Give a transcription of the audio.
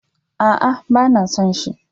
A'a, ba na son shi.